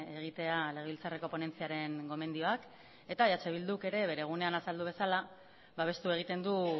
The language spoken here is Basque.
egitea legebiltzarreko ponentziaren gomendioak eta eh bilduk ere bere gunean azaldu bezala babestu egiten du